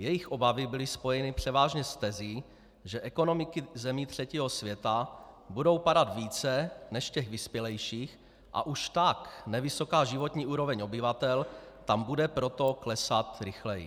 Jejich obavy byly spojeny převážně s tezí, že ekonomiky zemí třetího světa budou padat více než těch vyspělejších a už tak nevysoká životní úroveň obyvatel tam bude proto klesat rychleji.